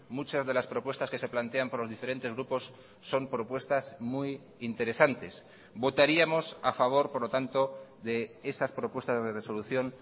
muchas de las propuestas que se plantean por los diferentes grupos son propuestas muy interesantes votaríamos a favor por lo tanto de esas propuestas de resolución